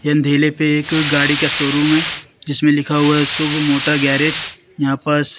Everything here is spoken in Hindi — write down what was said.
पे एक गाड़ी का शोरूम है जिसमें लिखा हुआ है शुभ मोटा गेराज यहां पास--